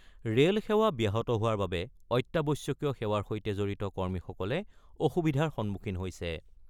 Rail সেৱা ব্যাহত হোৱাৰ বাবে অত্যাৱশ্যকীয় সেৱাৰ সৈতে জড়িত কৰ্মীসকলে অসুবিধাৰ সন্মুখীন হৈছে।